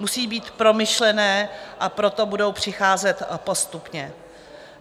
Musí být promyšlené, a proto budou přicházet postupně.